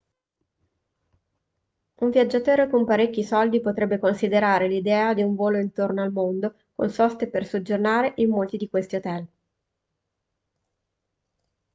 un viaggiatore con parecchi soldi potrebbe considerare l'idea di un volo intorno al mondo con soste per soggiornare in molti di questi hotel